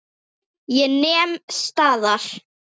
Ég nem staðar.